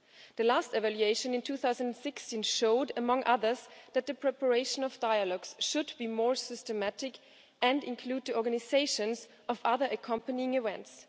The last evaluation in 2016 showed, among others, that the preparation of dialogues should be more systematic and include the organisation of other accompanying events.